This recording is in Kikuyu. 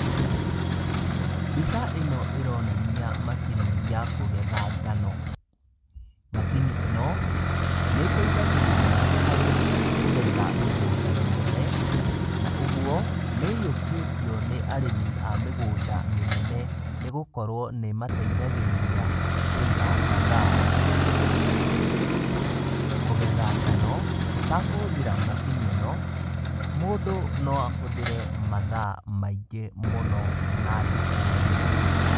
Mbica ĩno ĩronania macini ya kũgetha ngano. Macini ĩno nĩ ĩteithagĩrĩria harĩ kũgetha mĩgũnda mĩnene na ũguo nĩ ĩiyũkĩtio nĩ arĩmi a mĩgũnda mĩnene nĩ gũkorwo nĩ ĩmateithagĩrĩria kũiga mathaa. Kũgetha ngano ũtakũhũthĩra macini ĩno, mũndũ no ahũthĩre mathaa maingĩ mũno na ndũkũ nyingĩ.